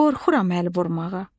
qorxuram əl vurmağa.